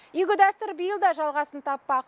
игі дәстүр биыл да жалғасын таппақ